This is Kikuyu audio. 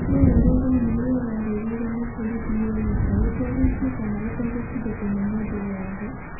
Wee arauga nyau ĩyo yarũgĩire mũborithi ĩĩka ĩtegũikio kana gũtindĩkwo nĩ mũndũ o wothe.